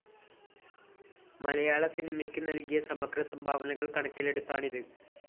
മലയാള സിനിമയ്ക്ക് നൽകിയ സമഗ്ര സംഭാവനകൾ കണക്കിലെടുത്താണിത്